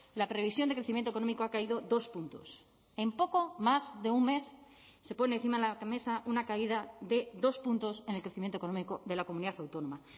la previsión de crecimiento económico ha caído dos puntos en poco más de un mes se pone encima de la mesa una caída de dos puntos en el crecimiento económico de la comunidad autónoma